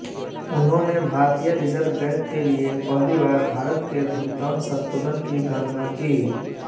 उन्होंने भारतीय Reserve Bank के लिए पहली बार भारत के भुगतान संतुलन की गणना की